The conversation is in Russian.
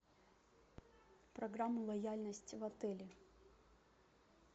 программа лояльности в отеле